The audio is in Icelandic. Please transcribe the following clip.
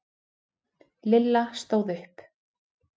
Lilla stóð upp.